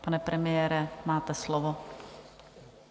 Pane premiére, máte slovo.